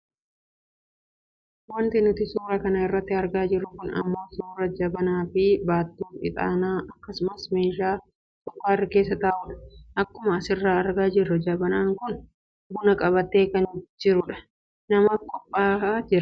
Wanti nuti suuraa kana irratti argaa jirru kun ammoo suuraa jabanaafi baattuu ixaanaa akkasumas meeshaa sukkaarri keessa ta'udha. Akkuma asirraa argaa jirru jabanaan kun buna qabatee kan jirudha. Namaaf qophaa'e jira.